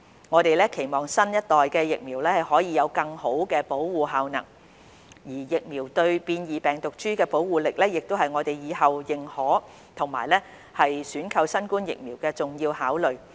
我們期望新一代疫苗可以有更好的保護效能，而疫苗對變異病毒株的保護力，亦會是我們以後認可及選購新冠疫苗的重要考慮。